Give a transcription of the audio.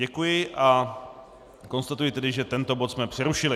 Děkuji a konstatuji tedy, že tento bod jsme přerušili.